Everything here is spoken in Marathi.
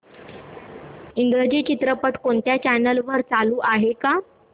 इंग्रजी चित्रपट कोणत्या चॅनल वर चालू आहे का